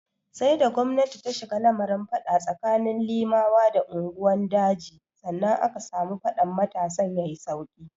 Sai da gwamnati ta shigo lamarin fada tsakanin Limawa da unguwan daji, sannan aka samu faɗan matasan ya yi sauki.